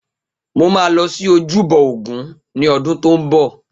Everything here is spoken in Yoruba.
Mo ma lọ sí ojúbọ ògún ní odún tó ń bọ̀